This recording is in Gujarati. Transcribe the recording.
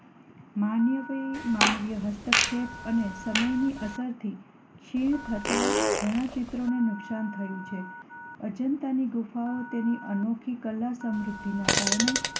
માનવીય હસ્તક્ષેપ અને સમયની અસરથી ક્ષીણ થતાં ઘણાં ચિત્રોને નુકસાન થયું છે. અજંતાની ગુફાઓ તેની અનોખી કલા સમૃદ્ધિના કારણે